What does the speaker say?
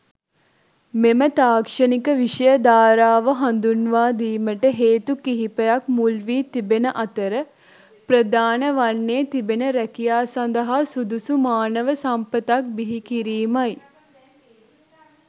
මෙම තාක්ෂණික විෂය ධාරාව හඳුන්වාදීමට හේතු කිහිපයක් මුල් වී තිබෙන අතර ප්‍රධාන වන්නේ තිබෙන රැකියා සඳහා සුදුසු මානව සම්පතක් බිහිකිරීමයි.